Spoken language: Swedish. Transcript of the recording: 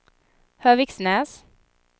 Höviksnäs